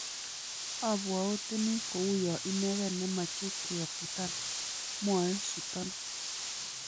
"Abwaotini kouya inegei ne meche ke futan", mwae Sutton